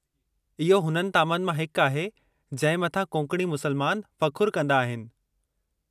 इहो हुननि तामनि मां हिकु आहे जंहिं मथां कोंकणी मुसलमान फ़खु़रु कंदा आहिनि।